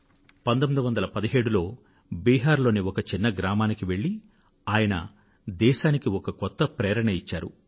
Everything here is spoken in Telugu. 1917లో బిహార్ లోని ఒక చిన్న గ్రామానికి వెళ్ళి ఆయన దేశానికి ఒక కొత్త ప్రేరణనిచ్చారు